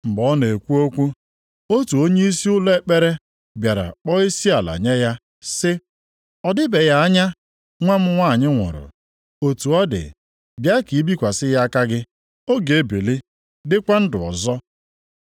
Mgbe ọ nọ na-ekwu okwu, otu onyeisi ụlọ ekpere bịara kpọọ isiala nye ya, sị, “Ọ dịbeghị anya nwa m nwanyị nwụrụ. Otu ọ dị, bịa ka ị bikwasị ya aka gị. Ọ ga-ebili dịkwa ndụ ọzọ.”